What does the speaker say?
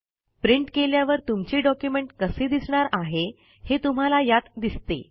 print केल्यावर तुमचे document कसे दिसणार आहे हे तुम्हाला यात दिसते